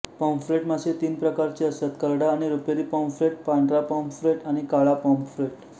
pomfret मासे तीन प्रकारचे असतात करडा किंवा रुपेरी पाँफ्रेट पांढरा पाँफ्रेट आणि काळा पाँफ्रेट